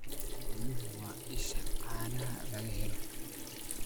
Xooluhu waa isha caanaha laga helo.